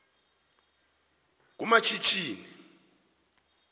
kumashishini